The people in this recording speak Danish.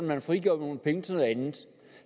man frigør nogle penge til noget andet